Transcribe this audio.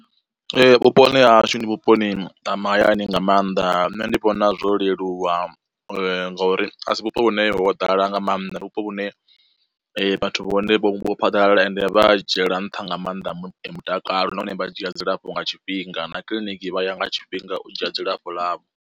Vhuponi ha hashu ndi vhuponi ha mahayani nga mannḓa nṋe ndi vhona zwo leluwa ngori asi vhupo vhune ho ḓala nga maanḓa, ndi vhupo vhune vhathu vha hone vho phaḓalala ende vha dzhiela nṱha nga maanḓa mutakalo nahone vha dzhia dzilafho nga tshifhinga na kiḽiniki vha ya nga tshifhinga u dzhia dzilafho ḽavho.